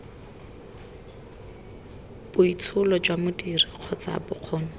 boitsholo jwa modiri kgotsa bokgoni